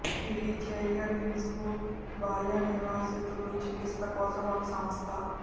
ఇది చేల్యబిన్స్క్ బాల్య నివాసితులు చికిత్స కోసం ఒక సంస్థ